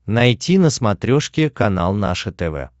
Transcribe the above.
найти на смотрешке канал наше тв